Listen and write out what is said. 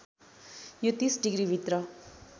यो ३० डिग्रीभित्र